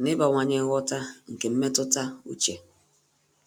na ị́bàwànyé nghọta nke mmetụta úchè.